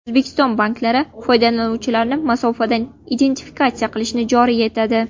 O‘zbekiston banklari foydalanuvchilarni masofadan identifikatsiya qilishni joriy etadi.